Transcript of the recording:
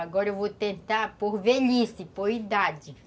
Agora eu vou tentar por velhice, por idade.